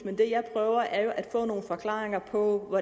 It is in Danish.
men det jeg prøver er jo at få nogle forklaringer på